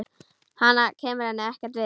Hann kemur henni ekkert við.